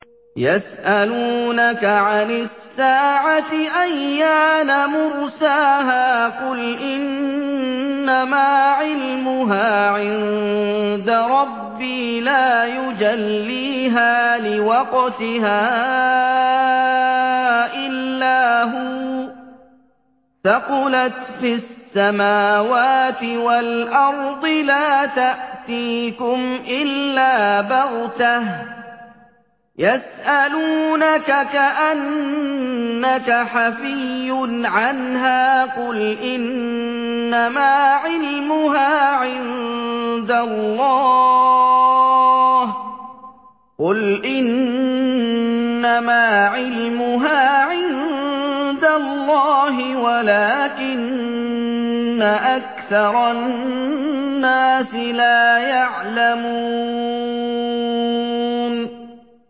يَسْأَلُونَكَ عَنِ السَّاعَةِ أَيَّانَ مُرْسَاهَا ۖ قُلْ إِنَّمَا عِلْمُهَا عِندَ رَبِّي ۖ لَا يُجَلِّيهَا لِوَقْتِهَا إِلَّا هُوَ ۚ ثَقُلَتْ فِي السَّمَاوَاتِ وَالْأَرْضِ ۚ لَا تَأْتِيكُمْ إِلَّا بَغْتَةً ۗ يَسْأَلُونَكَ كَأَنَّكَ حَفِيٌّ عَنْهَا ۖ قُلْ إِنَّمَا عِلْمُهَا عِندَ اللَّهِ وَلَٰكِنَّ أَكْثَرَ النَّاسِ لَا يَعْلَمُونَ